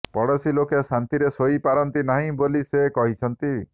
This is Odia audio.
ପଡ଼ୋଶୀ ଲୋକେ ଶାନ୍ତିରେ ଶୋଇପାରନ୍ତି ନାହିଁ ବୋଲି ସେ କହିଛନ୍ତି